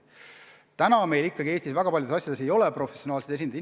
Praegu Eestis ikkagi väga paljudes asjades ei ole professionaalseid esindajaid.